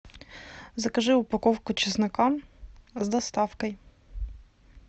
закажи упаковку чеснока с доставкой